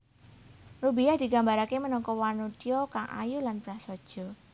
Rubiyah digambarake minangka wanodya kang ayu lan prasaja